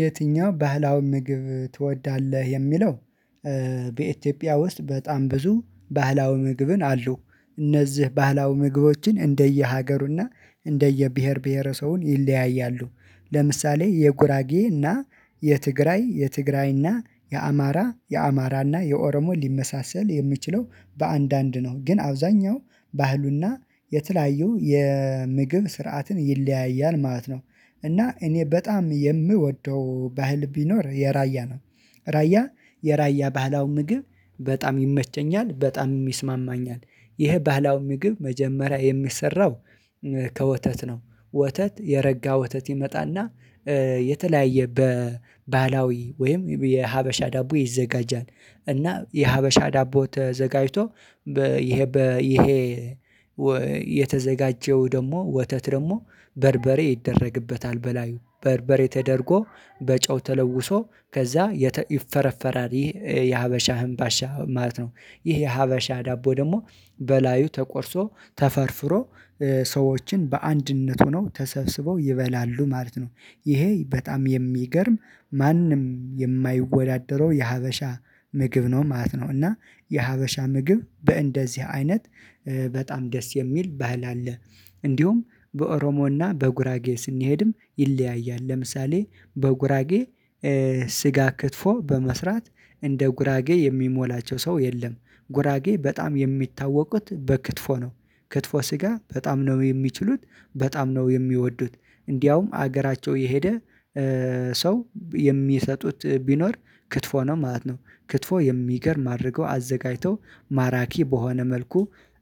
የትኛው ባህላው ምግብ ትወዳለህ የሚለው በኢትዮጵያ ውስጥ በጣም ብዙ ባህላዊ ምግብን አሉ እነዚህ ባህላዊ ምግቦችን እንደየሀገሩና እንደየብሄር ብሄረ ሰውን ይለያያሉ። ለምሳሌ የጉራጌ እና የትግራይ የትግራይ እና የአማራ የአማራ የአማራና የኦሮሞ ሊመሳሰል የሚችለው በአንዳንድ ነው ግን አብዛኛው ባህሉና የተለያዩ የምግብ ስርዓትን ይለያያል ማለት ነው። እና እኔ በጣም የምወደው ባህል ቢኖር የራያ ነው። ራያ የራያ ባህላዊ ምግብ በጣም ይመቸኛል በጣም ይስማማኛል ይሄ ባህላዊ ምግብ መጀመሪያ የሚሰራው ከወተት ነው ወተት የረጋ ወተት ይመጣና የተለያየ በባህላዊ ወይም የሀበሻ ዳቦ ይዘጋጃል እና የሀበሻ ዳቦ ተዘጋጅቶ በይሄ ይሄ የተዘጋጀው ደግሞ ወተት ደግሞ በርበሬ ይደረግበታል በላዩ በርበሬ ተደርጎ በጨው ተለውሶ ከዛ ይፈረፈራል ይህ የሀበሻ ህምባሻ ማለት ነው ይህ የሀበሻ ዳቦ ደግሞ በላዩ ተቆርሶ ተፈርፍሮ ሰዎችን በአንድነቱ ነው ተሰብስበው ይበላሉ ማለት ነው ይሄ በጣም የሚገርም ማንም የማይወዳደረው የሀበሻ ምግብ ነው ማለት ነው እና የሀበሻ ምግብ በእንደዚህ አይነት በጣም ደስ የሚል ባህል አለ እንዲሁም በኦሮሞና በጉራጌ ስንሄድም ይለያያል ለምሳሌ በጉራጌ ስጋ ክትፎ በመስራት እንደ ጉራጌ የሚሞላቸው ሰው የለም ጉራጌ በጣም የሚታወቁት በክትፎ ነው ክትፎ ስጋ በጣም ነው የሚችሉት በጣም ነው የሚወዱት እንዲያውም ሀገራቸው የሄደ ሰው የሚሰጡት ቢኖር ክትፎ ነው ማለት ነው ክትፎ የሚገርም አድርገው አዘጋጅተው ማራኪ በሆነ መልኩ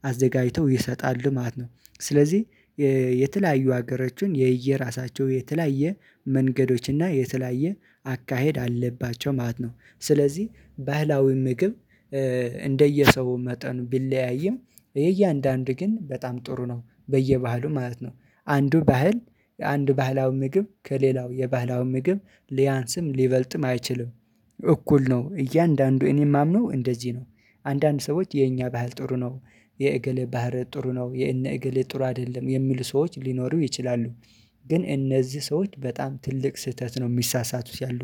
አዘጋጅተው ይሰጣሉ ማለት ነው ስለዚህ የተለያዩ ሀገሮችን የየራሳቸው የተለያየ መንገዶች እና የተለያየ አካሄድ አለባቸው ማለት ነው ስለዚህ ባህላዊ ምግብ እንደየሰው መጠን ቢለያይም የእያንዳንዱ ግን በጣም ጥሩ ነው በየባህሉ ማለት ነው አንዱ ባህል የአንድ ባህላዊ ምግብ ከሌላው የባህላዊ ምግብ ሊያንስም ሊበልጥም አይችልም እኩል ነው እያንዳንዱ እኔ የማምነው እንደዚህ ነው አንዳንድ ሰዎች የኛ ባህል ጥሩ ነው የእጌሌ ባህር ጥሩ ነው የእነ ኤጌሌ ጥሩ አይደለም የሚሉ ሰዎች ሊኖሩ ይችላሉ ግን እነዚህ ሰዎች በጣም ትልቅ ስህተት ነው የሚሳሳቱት ያሉ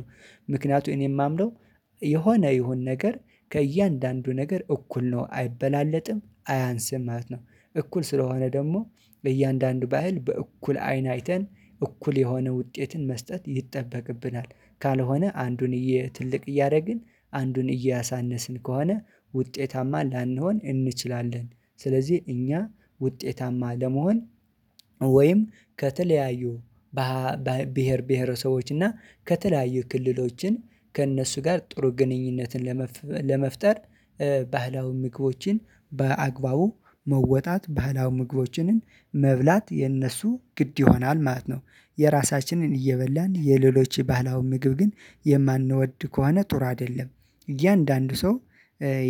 ምክንያቱም እኔ የማምነው የሆነ ይሁን ነገር ከእያንዳንዱ ነገር እኩል ነው አይበላለጥም አያንስም ማለት ነው እኩል ስለሆነ ደግሞ በእያንዳንዱ ባህል በእኩል አይን አይተን እኩል የሆነ ውጤትን መስጠት ይጠበቅብናል ካልሆነ አንዱን ትልቅ እያደረግን አንዱን እያሳነስን ከሆነ ውጤታማ ላንሆን እንችላለን ስለዚህ እኛ ውጤታማ ለመሆን ወይም ከተለያዩ ባህል ብሄር ብሄረሰቦች እና ከተለያዩ ክልሎችን ከእነሱ ጋር ጥሩ ግንኙነትን ለመፍ ለመፍጠር ባህላዊ ምግቦችን በአግባቡ መወጣት ባህላዊ ምግቦችንን መብላት የነሱ ግድ ይሆናል ማለት ነው የራሳችንን እየበላን የሌሎች ባህላዊ ምግብ ግን የማንወድ ከሆነ ጥሩ አይደለም እያንዳንዱ ሰው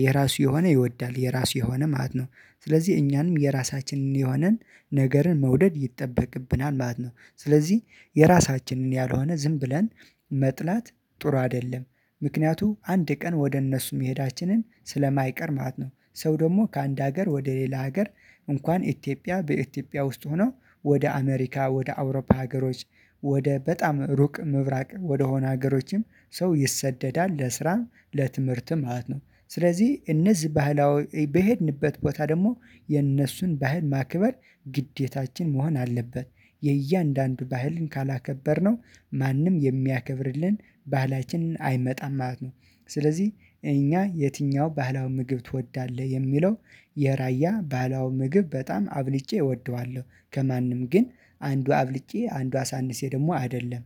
የራሱ የሆነ ይወዳል የራሱ የሆነ ማለት ነው ስለዚህ እኛንም የራሳችንን የሆነን ነገርን መውደድ ይጠበቅብናል ማለት ነው ስለዚህ የራሳችንን ያልሆነ ዝም ብለን መጥላት ጥሩ አይደለም ምክንያቱም አንድ ቀን ወደ እነሱ መሄዳችንን ስለማይቀር ማለት ነው ሰው ደግሞ ከአንድ ሀገር ወደ ሌላ ሀገር እንኳን ኢትዮጵያ በኢትዮጵያ ውስጥ ሆኖ ወደ አሜሪካ ወደ አውሮፓ ሀገሮች ወደ በጣም ሩቅ ምብራቅ ወደሆነ ሀገሮችም ሰው ይሰደዳል ለስራም ለትምህርትም ማለት ነው ስለዚህ እነዚህ ባህላዊ በሄድንበት ቦታ ደግሞ የእነሱን ባህል ማክበር ግዴታችን መሆን አለበት የእያንዳንዱ ባህልን ካላከበርነው ማንም የሚያከብርልን ባህላችንን አይመጣም ማለት ነው ስለዚህ እኛ የትኛው ባህላዊ ምግብ ትወዳለህ የሚለው የራያ ባህላዊ ምግብ በጣም አብልጬ እወደዋለሁ ከማንም ግን አንዱ አብልጬ አንዱ አሳንሴ ደግሞ አይደለም